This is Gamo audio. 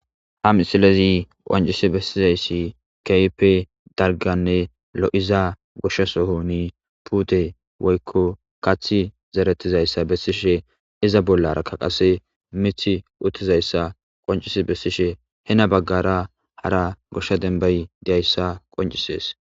Ha misilezi qoncisi besizaysi kehippe dalganne lo'iza goshe Soni putte woykon kathi zeretizaysa besishe izza bollara qase mithi uttizaysa qonc'isi besishe hena bagara hara gosha demba diyasa qonc'ises.